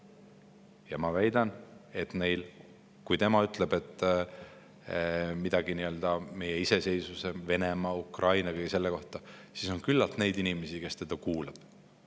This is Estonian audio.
Ja ma väidan, kui tema ütleb midagi meie iseseisvuse, Venemaa, Ukraina ja kõige selle kohta, siis on küllalt neid inimesi, kes teda kuulavad.